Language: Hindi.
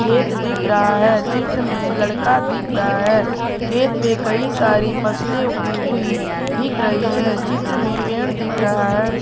खेत दिख रहा है चित्र में लड़का दिख रहा है खेत पे कई सारी फैसले उगी हुई दिख रही है चित्र में पेड़ दिख रहा है।